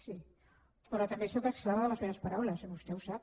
sí però també sóc esclava de les meves paraules i vostè ho sap